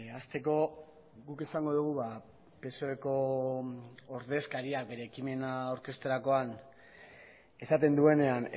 hasteko guk esango dugu psoeko ordezkariak bere ekimena aurkezterakoan esaten duenean